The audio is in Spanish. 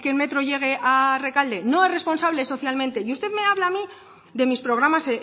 metro llegue a rekalde no es responsable socialmente y usted me habla a mí de mis programas